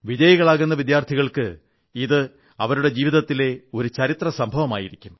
വിജയികളാകുന്ന വിദ്യാർഥികൾക്ക് ഇത് അവരുടെ ജീവിതത്തിലെ ഒരു ചരിത്ര സംഭവമായിരിക്കും